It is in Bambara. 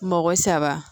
Mɔgɔ saba